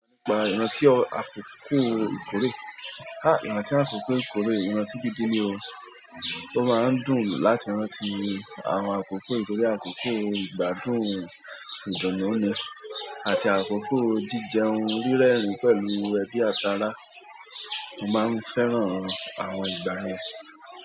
Ìgbà ìrantí àkókò ìkórè, ìrantí àkókò ìkórè ìrantí gídi ni o, o máa ń dùn láti rántí àwọn àkókò ìkórè àkókò ìgbádùn ìdùnnú ni àti àkókò jíjẹun rírẹ́rìn-ín pẹ̀lú ẹbí àti ará. Mo máa ń fẹ́ràn àwọn ìgbà yẹn.